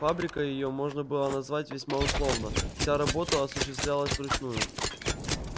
фабрикой её можно было назвать весьма условно вся работа осуществлялась вручную